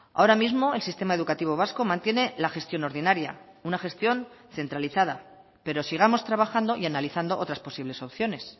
ahora mismo el sistema educativo vasco mantiene la gestión ordinaria una gestión centralizada pero sigamos trabajando y analizando otras posibles opciones